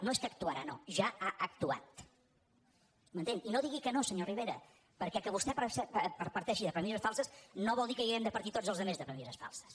no és que actuarà no ja ha actuat m’entén i no digui que no senyor rivera perquè que vostè parteixi de premisses falses no vol dir que n’hàgim de partir tots els altres de premisses falses